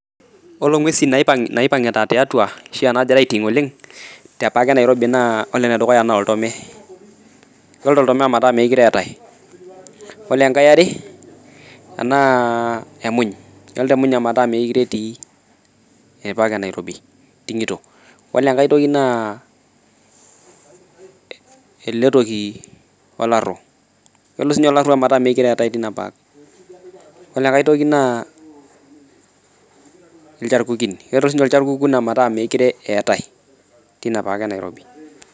Ore inguesin naaipangita tiautua ashuu naagira aiting oleng te park e Nairobi naa ore enedukuya naa Oltome keloito oltome ometaa meekure eetai, ore enkai eniare naa emuny, keloito emuny ometaa meekure etii te park Nairobi eitingito. Ore enkai toki naa eletoki olaru. Kelo siininye ometaa meekure eetae te Park. Ore enkae toki naa ilcharkukin, kelo siininye ilcharkukin metaa meekure eetai teina park enairobi